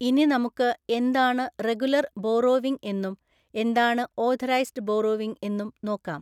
ഇനി നമുക്ക് എന്താണ് റെഗുലര്‍ ബോറോവിങ്എന്നും എന്താണ് ഓഥറൈസ്ഡ് ബോറോവിങ് എന്നും നോക്കാം.